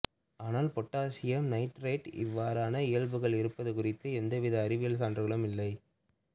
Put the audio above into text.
ஆனால் பொட்டாசியம் நைத்திரேட்டுக்கு இவ்வாறான இயல்புகள் இருப்பது குறித்து எவ்வித அறிவியல் சான்றுகளும் இல்லை